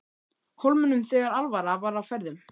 Hólminum þegar alvara var á ferðum.